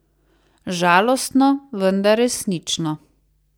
Žalostno, vendar resnično.